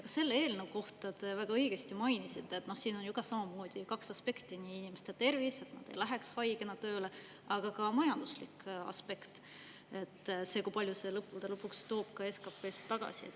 Ka selle eelnõu kohta te väga õigesti mainisite, et siin on samamoodi kaks aspekti: nii inimeste tervis, et nad ei läheks haigena tööle, kui ka majanduslik aspekt, see, kui palju see lõppude lõpuks toob SKP-sse tagasi.